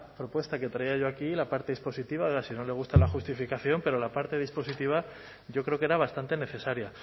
propuesta que traía yo aquí la parte dispositiva ahora si no le gusta la justificación pero la parte dispositiva yo creo que era bastante necesaria